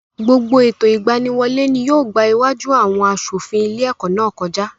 Gbogbo ètò ìgbaniwọlé ni yóò gbá iwájú àwọn aṣòfin ilé-ẹ̀kọ́ náà kọjá.